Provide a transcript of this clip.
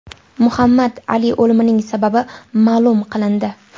Muhammad Ali o‘limining sababi ma’lum qilindi.